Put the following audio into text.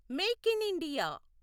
make in India